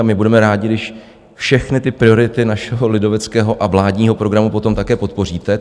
A my budeme rádi, když všechny ty priority našeho lidoveckého a vládního programu potom také podpoříte.